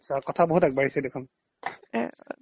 কথা বহুত আগবাঢ়িছে দেখোন